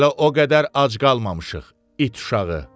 Hələ o qədər ac qalmamışıq, it uşağı.